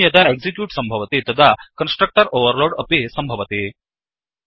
new यदा execute सम्भवति तदा कन्स्ट्रक्टर् ओवर्लोड् अपि सम्भवति